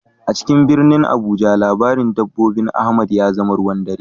A cikin birnin Abuja labarin dabbobin Ahmad ya zama ruwan dare.